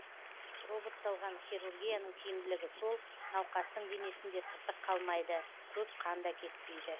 роботталған хирургияның тиімділігі сол науқастың денесінде тыртық қалмайды көп қан да кетпейді